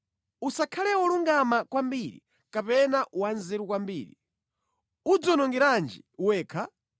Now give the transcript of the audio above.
Usakhale wolungama kwambiri kapena wanzeru kwambiri, udziwonongerenji wekha?